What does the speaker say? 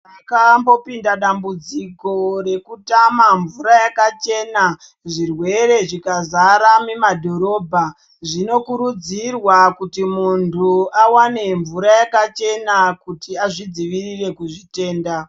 Pakambopinda dambudziko rekutama mvura yakachena zvirwere zvikazara mumadhorobha zvinokurudzirwa kuti muntu awane mvura yakachena kuti azvidzivirire kuzvitenda.